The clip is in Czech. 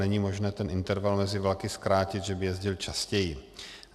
Není možné ten interval mezi vlaky zkrátit, že by jezdil častěji.